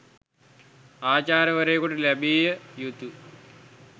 ආචාර්යවරයෙකුට ලැබිය යුතු